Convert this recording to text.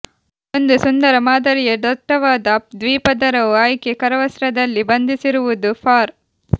ಒಂದು ಸುಂದರ ಮಾದರಿಯ ದಟ್ಟವಾದ ದ್ವಿಪದರವು ಆಯ್ಕೆ ಕರವಸ್ತ್ರದಲ್ಲಿ ಬಂಧಿಸುವುದು ಫಾರ್